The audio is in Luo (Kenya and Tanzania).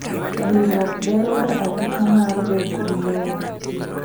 Riwruok beroga arita mar bedogi lowo.